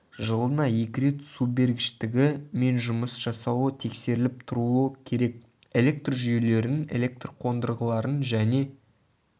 жылына екі рет субергіштігі мен жұмыс жасауы тексеріліп тұруы керек электр жүйелерін электр қондырғыларын және